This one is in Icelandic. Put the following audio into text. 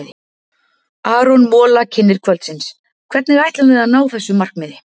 Aron Mola, kynnir kvöldsins: Hvernig ætlum við að ná þessu markmiði?